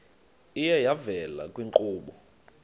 iye yavela kwiinkqubo